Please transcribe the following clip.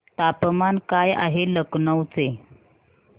तापमान काय आहे लखनौ चे